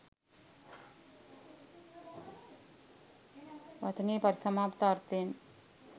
වචනයේ පරිසමාප්ත අර්ථයෙන්